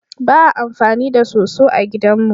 Ba a amfani da soso a gidan mu.